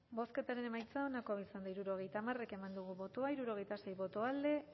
bozketaren emaitza onako izan da hirurogeita hamar eman dugu bozka hirurogeita sei boto alde